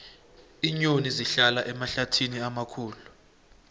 iinyoni zihlala emahlathini amakhulu